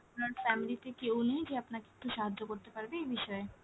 আপনার family তে কেউ নেই যে আপনাকে একটু সাহায্য করতে পারবে এই বিষয়ে?